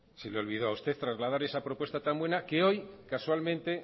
a usted trasladar esa propuesta tan buena que hoy casualmente